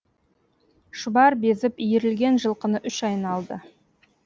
шұбар безіп иірілген жылқыны үш айналды